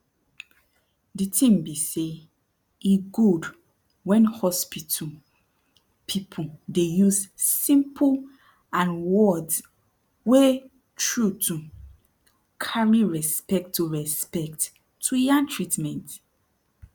de tin be say e gud wen hospital people dey use simple and words wey trutu cari respect to respect to yan treatment